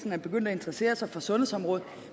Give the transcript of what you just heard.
er begyndt at interessere sig for sundhedsområdet